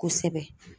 Kosɛbɛ